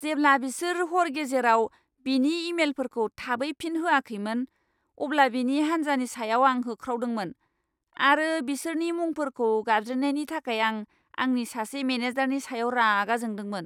जेब्ला बिसोर हर गेजेराव बिनि इमेलफोरखौ थाबै फिन होआखैमोन, अब्ला बिनि हान्जानि सायाव आं होख्रावदोंमोन आरो बिसोरनि मुंफोरखौ गाबज्रिनायनि थाखाय आं आंनि सासे मेनेजारनि सायाव रागा जोंदोंमोन!